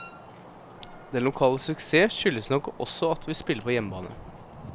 Den lokale suksess skyldes nok også at vi spiller på hjemmebane.